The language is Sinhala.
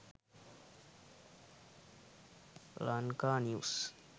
lanka news